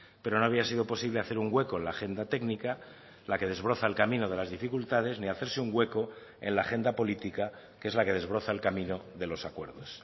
pero no había sido posible hacer un hueco en la agenda técnica la que desbroza el camino de las dificultades ni hacerse un hueco en la agenda política que es la que desbroza el camino de los acuerdos